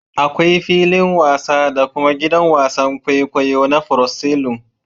Akwai filin wasa da kuma gidan wasan kwaikwayo na proscelum